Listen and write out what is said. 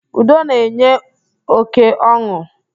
Udo na-enye óké ọn̄ụ.